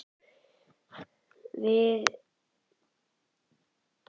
En er hann meiri eða minni en áður?